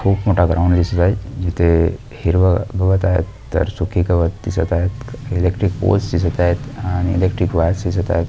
खूप मोठा ग्राऊंड दिसत आहे इथे हिरवा गवत आहे तर सुखी गवत दिसत आहे इलेक्ट्रिक्क पोल्स दिसत आहे आणि इलेक्ट्रिक वायर्स दिसत आहे.